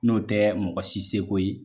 N'o tɛ mɔgɔ si seko ye